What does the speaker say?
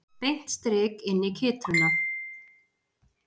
Beint strik inn í kytruna.